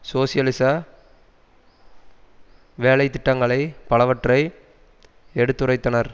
சோசியலிச வேலை திட்டங்களை பலவற்றை எடுத்துரைத்தனர்